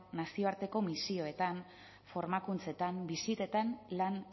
nazioarteko misioetan formakuntzetan bisitetan lan